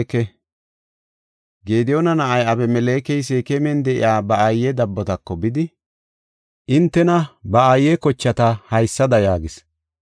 Gediyoona na7ay, Abimelekey Seekeman de7iya ba aaye dabbotako bidi, entanne ba aaye kochata haysada yaagis;